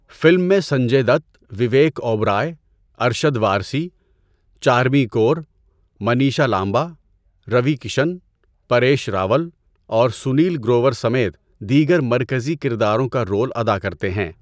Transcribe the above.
Film میں سنجے دت، وویک اوبرائے، ارشد وارثی، چارمی کور، منیشا لامبا، روی کشن، پاریش راول اور سنیل گروور سمیت دیگر مرکزی کرداروں کا رول ادا کرتے ہیں۔